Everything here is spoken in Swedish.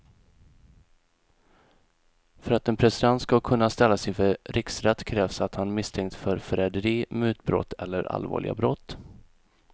För att en president ska kunna ställas inför riksrätt krävs att han misstänks för förräderi, mutbrott eller allvarliga brott.